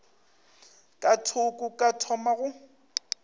ka thoko ka thoma go